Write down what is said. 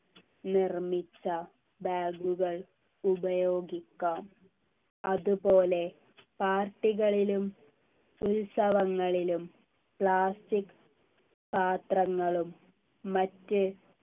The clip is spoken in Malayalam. നിർമിച്ച bag കൾ ഉപയോഗിക്കാം അതുപോലെ party കളിലും ഉത്സവങ്ങളിലും plastic പാത്രങ്ങളും മറ്റ്